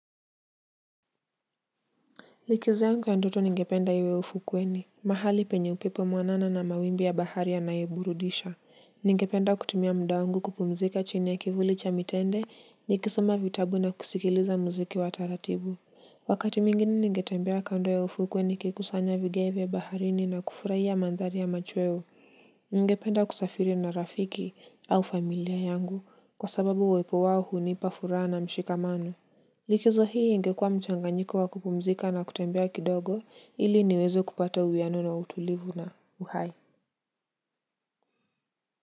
Likizo yangu ya ndoto ningependa iwe ufukweni mahali penye upepo mwanana na mawimbi ya bahari yanayoburudisha ningependa kutumia muda wangu kupumzika chini ya kivuli cha mitende nikisoma vitabu na kusikiliza muziki wa taratibu wakati mwingini ningetembea kando ya ufuko niki kusanya vigeve baharini na kufurahia mandhari ya machweo ningependa kusafiri na rafiki au familia yangu kwa sababu uwepo wao hunipa furaha na mshikamano. Likizo hii ingekua mchanganyiko wa kupumzika na kutembea kidogo ili niweze kupata uwiano na utulivu na uhai.